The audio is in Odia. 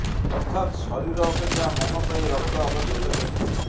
ଅର୍ଥାତ୍ ଶରୀର ଅପେକ୍ଷା ମନ ପାଇଁ ରକ୍ତ ଆବଶ୍ୟକ ହେଉଛି